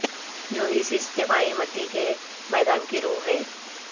جو اس اجتماعی مٹی کے میدان کی روح ہے